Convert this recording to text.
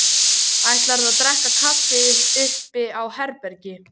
Ætlarðu að drekka kaffi uppi á herbergi?